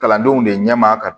Kalandenw de ɲɛma ka